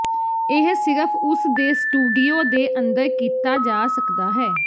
ਇਹ ਸਿਰਫ ਉਸ ਦੇ ਸਟੂਡੀਓ ਦੇ ਅੰਦਰ ਕੀਤਾ ਜਾ ਸਕਦਾ ਹੈ